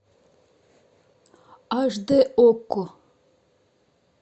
аш дэ окко